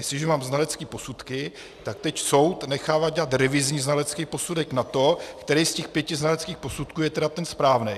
Jestliže mám znalecké posudky, tak teď soud nechává dělat revizní znalecký posudek na to, který z těch pěti znaleckých posudků je tedy ten správný.